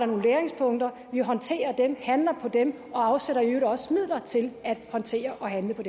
nogle læringspunkter vi håndterer dem og handler på dem og afsætter i øvrigt også midler til at håndtere og handle på